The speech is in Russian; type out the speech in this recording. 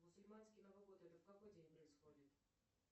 мусульманский новый год это в какой день происходит